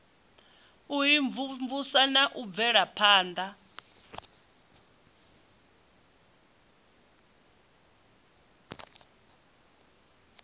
u imvumvusa na u bvelaphana